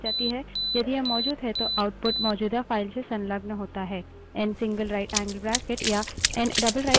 यदि यह मौजूद है तो output मौजूदा file से संलग्न होता है